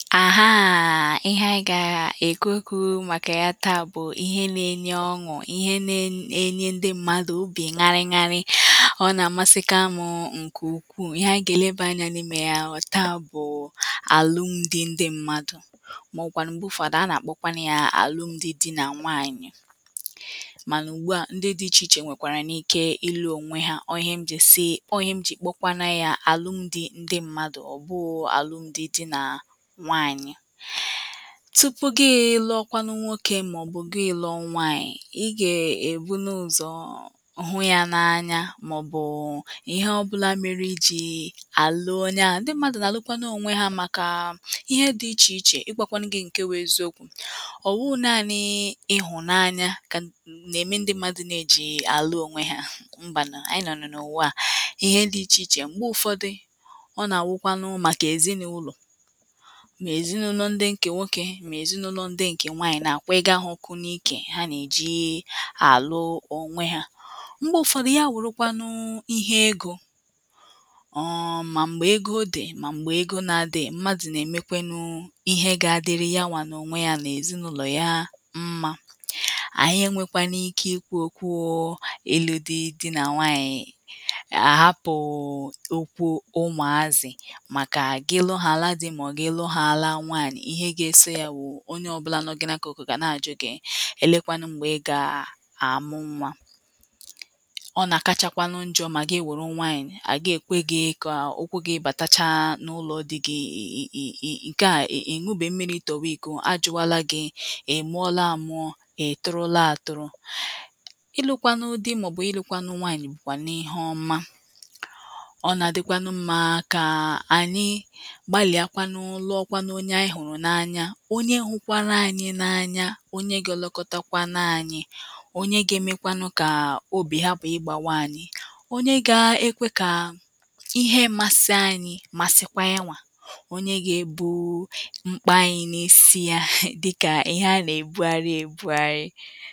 àhaà, ihe anyị gà um èkwu okwu̇ màkà ya taà bụ̀ ihe nȧ-enye ọṅụ̀, ihe nȧ-enye enye ndị mmadụ̀ obì ṅarị ṅarị, ọ nà-àmasịkaṁ ǹkè ukwuù, ihe anyị gà-èlebà anyȧ n’imė ya wụ̀ taà bụ̀ àlụmdi ndị mmadụ̀. màọ̀wụ̀kwànụ̀ m̀gbe ụ̇fọdụ a nà-àkpọkwanụ yȧ àlụmdi di nà nwaànyị̀, mànà ugbuà ndị dị ichè ichè nwèkwàrà n’ike ịlụ̇ ònwe yȧ ọọ̀ ihe m jì sị ọọ ihe m jì kpọkwanu yȧ àlụmdi ndị mmadụ̀ ọ̀ bụụ àlụmdi di nà nwanyị.tupu gị lụọkwanụ nwokė màọ̀bụ̀ gị lụọ nwaànyị̀ i gà-èbunu ụ̀zọ̀ hụ yȧ n’anya màọ̀bụ̀ ihe ọbụla mere iji̇ àlụ onye ahụ̀, ndị mmadụ̀ nà-àlụkwanụ onwe ha màkà ihe dị ichè ichè, ịgwȧkwanụ gị ǹke wụ̇ eziokwu̇. ọwụghi naȧnị̇ ịhụ̀nanya kà um nà-ème ndị mmadụ̀ na-eji àlụ onwe ha, mbànụ̀ ànyị nọ̀nụ̀ n’ụ̀wa à ihe dị̇ ichè ichè, m̀gbe ụ̀fọdụ ọ nà-àwụkwanụ màkà èzinàụlọ̀.mà èzinụlọ ndị ǹkè nwokė mà èzinụlọ ndị ǹkè nwaànyị̀ nà àkwughiga ha ọkụ n’ike ha nà-èji àlụ onwe ha.mgbe ụ̀fọdụ ya wùrụkwanụ ihe egȯ ọọ̀ mà m̀gbè ego odè, mà m̀gbè ego nà-adịghi m̀madụ nà-èmekwanụ ihe gȧ-ȧdịrị yawà nà onwe ya nà èzinụlọ ya mmȧ ànyị enwėkwanụ ike ikwu̇ okwu ilu dị dị nà nwaànyị̀ àhapụ̀ um okwu ụmàazị̀ màkà gị lọhaala dị̇ mà ọ̀ gị luhaala onye ọbụla nọ gị n’akọ̀kọ̀ gà na-àjụ gị̇ èlekwanụ m̀gbè ị gà-àmụ nwa.ọ nà-àkachakwanụ njọ̇ mà gị wuru nwaànyị̀ à ga-ekwe gị̇ kà um ụkwụ gị̇ bàtacha n’ụlọ̇ dị gị̇ um ǹkè a è ǹubè mmiri̇ tọ̀wàí̀kò ajụ̇wàla gị̇ i muọla àmụọ̇ ka i tụrụ laa àtụrụ.ịlụ̇kwanụ dị màọ̀bụ̀ ịlụ̇kwanụ nwaànyị̀ bùkwà n’ihe ọma ọ nà-àdịkwanụ mmȧ kà ànyị Gbalia kwánú lụọkwanu onye anyị hụrụ n'anya, onye hụkwara anyị n’anya, onye gị̇ ọlọkọtakwanu-anyị, onye gȧ-emekwanụ kà um obì ha pụ̀ ịgbȧwa anyị, onye gȧ-ekwe kà um ihe mȧsị anyị̇ masịkwa yanwà onye gị̇ ebu̇u um mkpȧ anyị̇ n’isi ya dịkà ihe a nà-èbugharị ebugharị